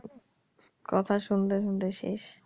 কথা শুনতে শুনতে শেষ